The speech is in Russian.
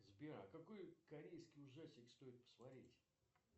сбер а какой корейский ужастик стоит посмотреть